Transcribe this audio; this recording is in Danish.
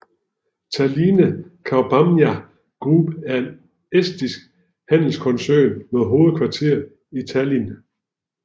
Tallinna Kaubamaja Group er en estisk handelskoncern med hovedkvarter i Tallinn